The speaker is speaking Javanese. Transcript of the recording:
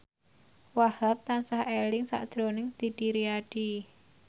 Wahhab tansah eling sakjroning Didi Riyadi